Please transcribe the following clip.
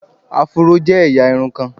Afuro je eya irun kan